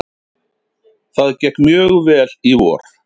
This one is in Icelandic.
Það gekk mjög vel í vor.